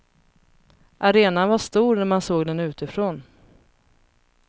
Arenan var stor när man såg den utifrån.